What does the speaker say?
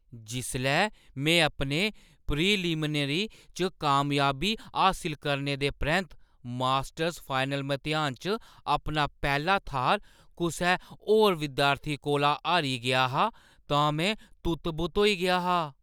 जिसलै में अपने प्रीलिमिनरी च कामयाबी हासल करने दे परैंत्त मास्टर्स फाइनल मतेहान च अपना पैह्‌ला थाह्‌र कुसै होर विद्यार्थी कोला हारी गेआ हा तां में तुत्त-बुत्त होई गेआ हा।